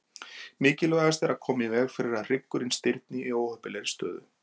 Mikilvægast er að koma í veg fyrir að hryggurinn stirðni í óheppilegri stöðu.